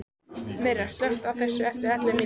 Myrra, slökktu á þessu eftir ellefu mínútur.